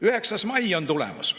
9. mai on tulemas.